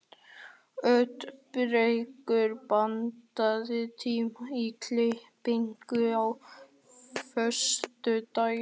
Oddbergur, pantaðu tíma í klippingu á föstudaginn.